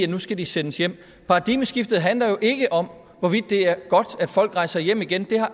nu skal de sendes hjem paradigmeskiftet handler jo ikke om hvorvidt det er godt at folk rejser hjem igen det har